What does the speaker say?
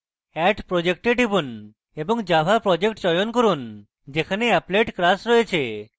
add project এ টিপুন এবং java project চয়ন করুন যেখানে applet class রয়েছে